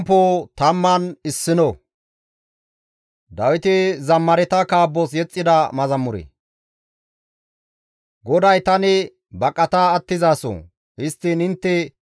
GODAY tani baqata attizaso; histtiin intte tana ays, «Neni kafo mala pude zuma bolla baqata» geetii?